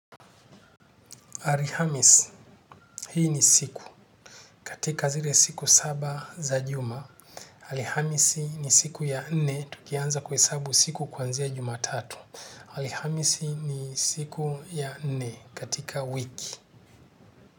Alhamisi, hii ni siku. Katika zile siku saba za juma. Alhamisi ni siku ya nne. Tukianza kuhesabu siku kuanzia juma tatu. Alhamisi ni siku ya nne katika wiki.